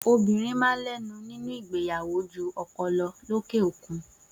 Obìnrin máa ń lẹ́nu nínú ìgbéyàwó ju ọkọ lọ lókè òkun.